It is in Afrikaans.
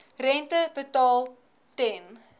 rente betaal ten